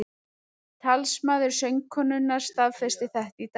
Talsmaður söngkonunnar staðfesti þetta í dag